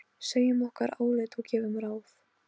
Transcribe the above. Segjum okkar álit og gefum ráð.